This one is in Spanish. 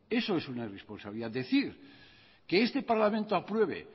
eso es una irresponsabilidad decir que este parlamento apruebe